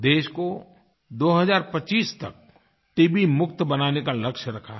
देश को 2025 तक टीबी मुक्त बनाने का लक्ष्य रखा है